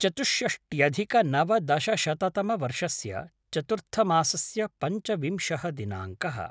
चतुष्षष्ट्यधिकनवदशशततमवर्षस्य चतुर्थमासस्य पञ्चविंशः दिनाङ्कः